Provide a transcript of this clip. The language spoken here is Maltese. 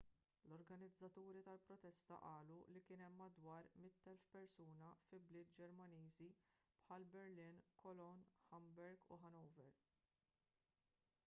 l-organizzaturi tal-protesta qalu li kien hemm madwar 100,000 persuna fi bliet ġermaniżi bħal berlin cologne hamburg u hanover